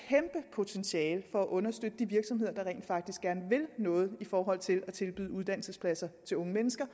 potentiale i at understøtte de virksomheder der rent faktisk gerne vil noget i forhold til at tilbyde uddannelsespladser til unge mennesker